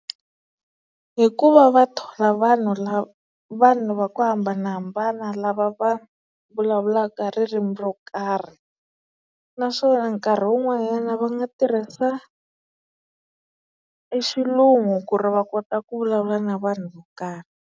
Hi ku va va thola vanhu vanhu va ku hambanahambana lava va vulavulaka ririmi ro karhi naswona nkarhi wun'wanyana va nga tirhisa e xilungu ku ri va kota ku vulavula na vanhu vo karhi.